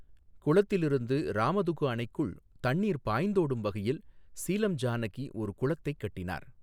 குளத்திலிருந்து ராமதுகு அணைக்குள் தண்ணீர் பாய்ந்தோடும் வகையில் சீலம் ஜானகி ஒரு குளத்தைக் கட்டினார்.